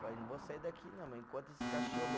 Falei, não vou sair daqui não, enquanto esse cachorro